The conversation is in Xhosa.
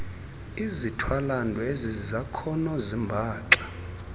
izithwalandwe ezizakhono zimbaxa